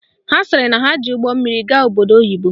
Ha sịrị na ha ji ụgbọmmiri gaa obodo oyibo